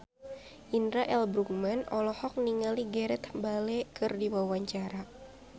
Indra L. Bruggman olohok ningali Gareth Bale keur diwawancara